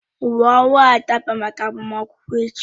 Uwe owu ahụ dabara máká agbamakwụkwọ echi